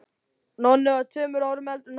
Nonni var tveimur árum eldri en hann.